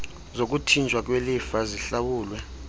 zokuthinjwa kwelifa zihlawulwe